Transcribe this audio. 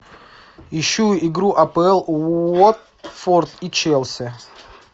ищу игру апл уотфорд и челси